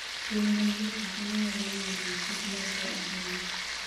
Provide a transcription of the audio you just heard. Piny ma liet ahinya nyalo miyo winy kik medre ahinya.